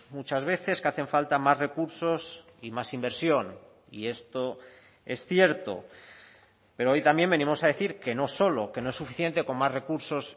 muchas veces que hacen falta más recursos y más inversión y esto es cierto pero hoy también venimos a decir que no solo que no es suficiente con más recursos